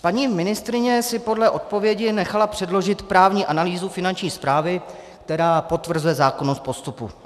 Paní ministryně si podle odpovědi nechala předložit právní analýzu Finanční správy, která potvrzuje zákonnost postupu.